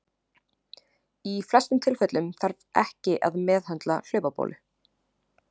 Í flestum tilfellum þarf ekki að meðhöndla hlaupabólu.